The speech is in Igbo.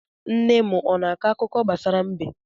Nne m ọ na-akọ akụkọ gbasara mbe?